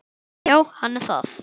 Já, hann er það.